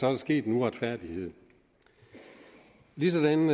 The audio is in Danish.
er sket noget retfærdigt ligesådan